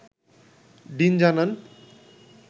dean জানান